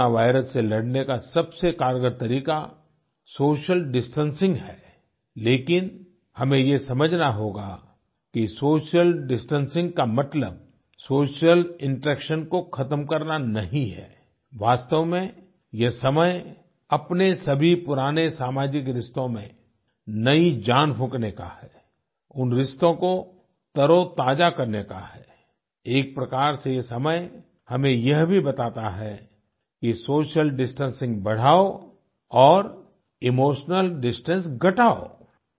corona virus से लड़ने का सबसे कारगर तरीका सोशल डिस्टेंसिंग है लेकिन हमें ये समझना होगा कि सोशल डिस्टेंसिंग का मतलब सोशल इंटरेक्शन को खत्म करना नहीं है वास्तव में ये समय अपने सभी पुराने सामाजिक रिश्तों में नई जान फूँकने का है उन रिश्तों को तरोताज़ा करने का है एक प्रकार से ये समय हमें ये भी बताता है कि सोशल डिस्टेंसिंग बढ़ाओ और इमोशनल डिस्टेंस घटाओ